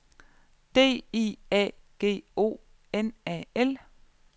D I A G O N A L